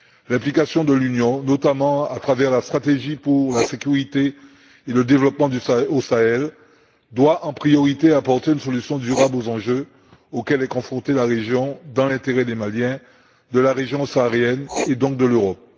L'implication de l'Union, notamment à travers la stratégie pour la sécurité et le développement au Sahel doit, en priorité, apporter une solution durable aux enjeux auxquels est confrontée la région, dans l'intérêt des Maliens, de la région saharienne et donc de l'Europe.